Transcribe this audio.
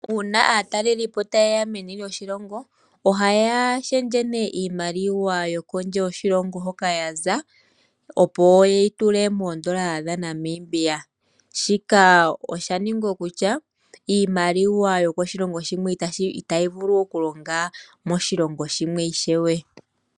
Uuna aataleli po taye ya meni lyoshilongo ohaya shendje iimaliwa yo kondje yoshilongo hoka ya za, opo ye yi tule moondola dhaNamibia. Shika osha nigwa kutya iimaliwa yokoshilongo shimwe itayi vulu okulonga moshilongo shimwe ishewe.